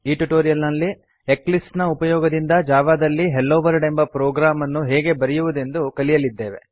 ಈ ಟ್ಯುಟೋರಿಯಲ್ ನಲ್ಲಿ ಎಕ್ಲಿಪ್ಸ್ ನ ಉಪಯೋಗದಿಂದ ಜಾವಾ ದಲ್ಲಿ ಹೆಲ್ಲೊ ವರ್ಲ್ಡ್ ಎಂಬ ಪ್ರೊಗ್ರಾಮ್ ಅನ್ನು ಹೇಗೆ ಬರೆಯುವುದೆಂದು ಕಲಿಯಲಿದೇವೆ